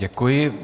Děkuji.